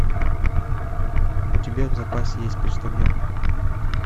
у тебя в запасе есть почтальон